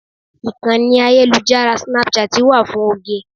Ìkànnì ayélujára Snapchat wà fún oge.